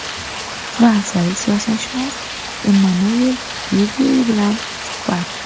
Fransiyalik siyosatshunos Emmanuel Dyupyui bilan suhbat.